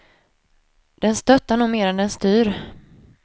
Den stöttar nog mer än den styr.